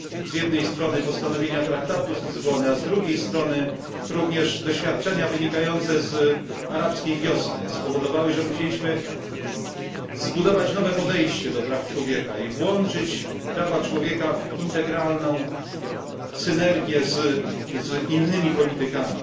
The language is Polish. Z jednej strony postanowienia traktatu z Lizbony, a z drugiej strony również doświadczenia wynikające z arabskiej wiosny spowodowały, że musieliśmy zbudować nowe podejście do praw człowieka i włączyć prawa człowieka w integralną synergię z innymi politykami.